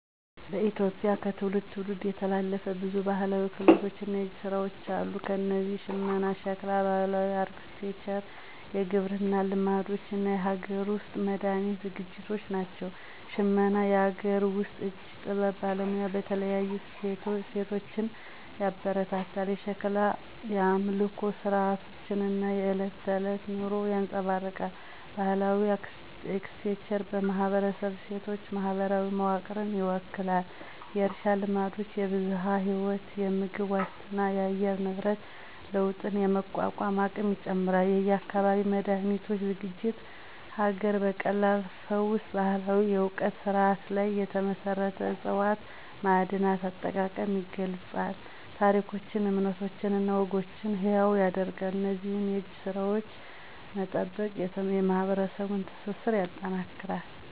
በኢትዮጵያ ከትውልድ ትውልድ የተላለፉ ብዙ ባህላዊ ክህሎቶች እና የእጅ ስራዎች አሉ። እነዚህም ሽመና፣ ሸክላ፣ ባህላዊ አርክቴክቸር፣ የግብርና ልማዶች እና የሀገር ውስጥ መድሃኒት ዝግጅቶች ናቸው። ሽመና - የአገር ውስጥ የእጅ ጥበብ ባለሙያዎችን በተለይም ሴቶችን ያበረታታል። የሸክላ - የአምልኮ ሥርዓቶችን እና የዕለት ተዕለት ኑሮን ያንፀባርቃል። ባህላዊ አርክቴክቸር - የማህበረሰብ እሴቶችን፣ ማህበራዊ መዋቅርን ይወክላል። የእርሻ ልማዶች -የብዝሃ ህይወት፣ የምግብ ዋስትናንና የአየር ንብረት ለውጥን የመቋቋም አቅም ይጨምራል። የአካባቢ መድሃኒቶች ዝግጅት -ሀገር በቀል ፈውስ ባህላዊ የእውቀት ስርዓቶች ላይ የተመሰረቱ ዕፅዋት፣ ማዕድናት አጠቃቀም ይገልፃል። ታሪኮችን፣ እምነቶችን እና ወጎችን ሕያው ያደርጋሉ። እነዚህን የእጅ ስራዎች መጠበቅ የማህበረሰቡን ትስስር ያጠናክራል።